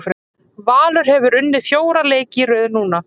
Valur hefur unnið fjóra leiki í röð núna.